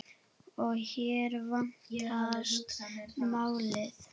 Og hér vandast málið.